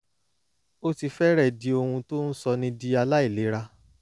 ó ti fẹ́rẹ̀ẹ́ di ohun tó ń sọni di aláìlera